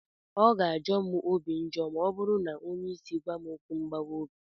Ọ ga-ajọ m obi njọ ma ọ bụrụ na onye isi gwam okwu mgbawa obi.